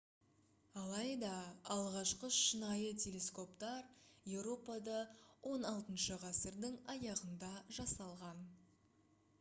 алайда алғашқы шынайы телескоптар еуропада 16 ғасырдың аяғында жасалған